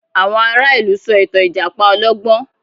Àwọn ará ìlú sọ ìtàn Ìjàpá olọ́gbọ́n